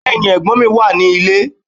Bẹ́ẹ̀ni, ẹ̀gbọ́n mi wà ní ilé